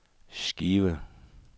Skive